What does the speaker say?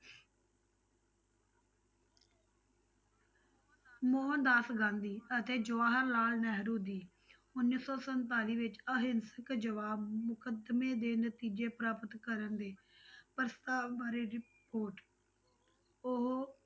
ਮੋਹਨ ਦਾਸ ਗਾਂਧੀ ਅਤੇ ਜਵਾਹਰ ਲਾਲ ਨਹਿਰੂ ਜੀ, ਉੱਨੀ ਸੌ ਸੰਤਾਲੀ ਵਿੱਚ ਅਹਿੰਸਕ ਜਵਾਬ ਮੁਕੱਦਮੇ ਦੇ ਨਤੀਜੇ ਪ੍ਰਾਪਤ ਕਰਨ ਦੇ ਪ੍ਰਸਤਾਵ ਬਾਰੇ report ਉਹ